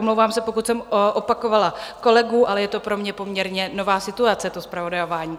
Omlouvám se, pokud jsem opakovala kolegu, ale je to pro mě poměrně nová situace, to zpravodajování.